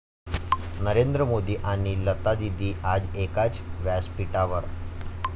नरेंद्र मोदी आणि लतादीदी आज एकाच व्यासपीठावर